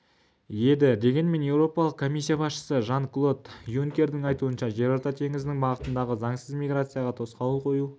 еді дегенмен еуропалық комиссия басшысы жан-клод юнкердің айтуынша жерорта теңізінің бағытындағы заңсыз миграцияға тосқауыл қою